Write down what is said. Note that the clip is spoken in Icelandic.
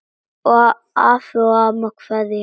Afi og amma kveðja